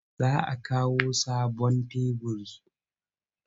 Za a kawo sabon teburi.